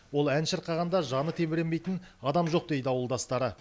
ол ән шырқағанда жаны тебіренбейтін адам жоқ дейді ауылдастары